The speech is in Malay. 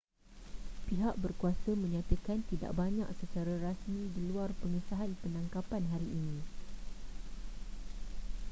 pihat berkuasa menyatakan tidak banyak secara rasmi di luar pengesahan penangkapan hari ini